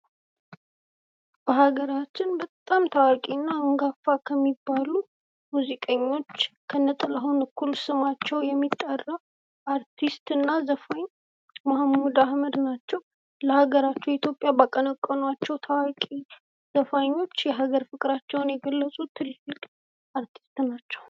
በሀገራችን በጣም ታዋቂ እና አንጋፋ ከሚባሉ ሙዚቀኞች ከነጥላሁን እኩል ስማቸው የሚጠራው ዘፋኝ መሀሙድ አህመድ ናቸው። ለሀገራቸው ኢትዮጵያ ባቀነቀኗቸው ታዋቂ ዘፋኞች የሀገር በፍቅራቸውን የገለጹ ትልቅ አርቲስት ናቸው።